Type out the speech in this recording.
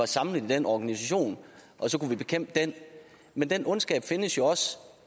samlet i den organisation og så kan vi bekæmpe den men den ondskab findes jo også